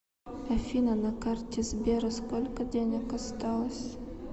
афина на карте сбера сколько денег осталось